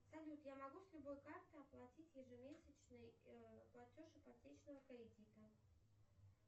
салют я могу с любой карты оплатить ежемесячный платеж ипотечного кредита